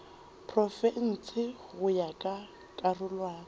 profense go ya ka karolwana